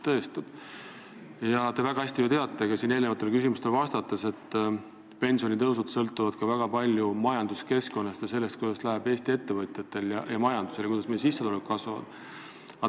Te ju teate väga hästi, nagu selgus ka siin eelnevatele küsimustele vastates, et pensionitõusud sõltuvad väga palju majanduskeskkonnast – sellest, kuidas läheb Eesti ettevõtjatel ja majandusel, ning sellest, kuidas meie sissetulek kasvab.